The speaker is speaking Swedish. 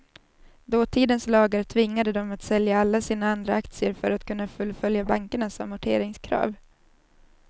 Dåtidens lagar tvingade dem att sälja alla sina andra aktier för att kunna fullfölja bankernas amorteringskrav.